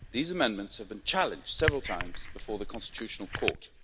These amendments have been challenged several times before the Constitutional Court.